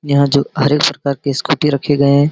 यहाँ जो हर एक प्रकार के के स्कूटी रखे गए।